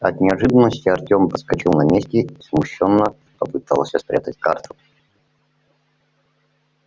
от неожиданности артём подскочил на месте и смущённо попытался спрятать карту